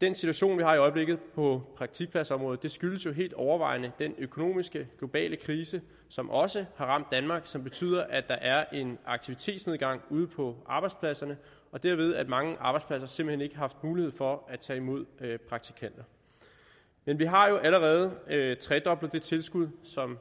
den situation vi har i øjeblikket på praktikpladsområdet skyldes helt overvejende den økonomiske globale krise som også har ramt danmark og som betyder at der er en aktivitetsnedgang ude på arbejdspladserne og derved har mange arbejdspladser simpelt hen ikke haft mulighed for at tage imod praktikanter men vi har jo allerede tredoblet det tilskud som